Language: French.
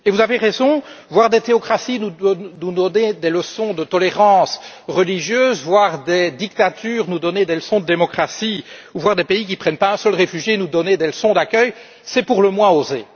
Et vous avez raison voir des théocraties nous donner des leçons de tolérance religieuse, voir des dictatures nous donner des leçons de démocratie, voir des pays qui ne prennent pas un seul réfugié nous donner des leçons d'accueil, c'est pour le moins osé.